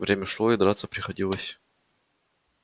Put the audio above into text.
время шло и драться приходилось